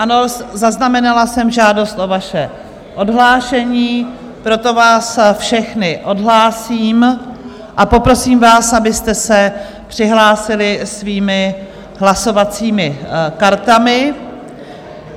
Ano, zaznamenala jsem žádost o vaše odhlášení, proto vás všechny odhlásím a poprosím vás, abyste se přihlásili svými hlasovacími kartami.